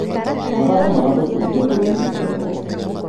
Mathako maratũbundithia kwĩĩtĩkia na ũrũme.